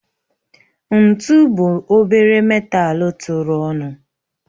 Ntu bụ obere metalu tụrụ ọnụ